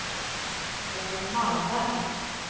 Bo Malmberg